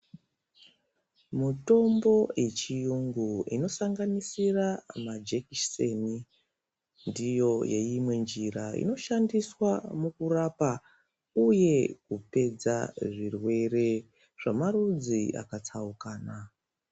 Mutombo yechiyungu ino sanganisira ma jekiseni ndiyo yeimwe njira ino shandiswa muku rapa uye kupedza zvirwere zvama rudzi aka tsaukana.